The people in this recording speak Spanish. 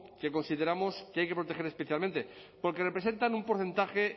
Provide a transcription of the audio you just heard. que consideramos que hay que proteger especialmente porque representan un porcentaje